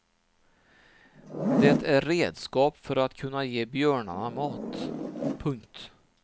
Det är redskap för att kunna ge björnarna mat. punkt